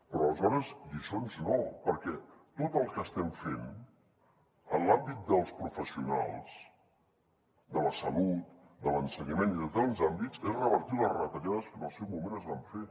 però aleshores lliçons no perquè tot el que estem fent en l’àmbit dels professionals de la salut de l’ensenyament i de tants àmbits és revertir les retallades que en el seu moment es van fer